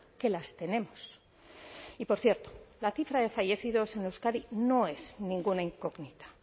que las tenemos y por cierto la cifra de fallecidos en euskadi no es ninguna incógnita